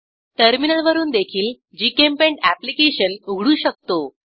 टर्मिनलवरून देखील GChemPaint application उघडू शकतो